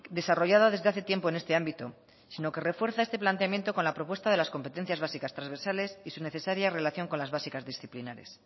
desarrollada desde hace tiempo en este ámbito sino que refuerza este planteamiento con la propuesta de las competencias básicas transversales y su necesaria relación con las básicas disciplinares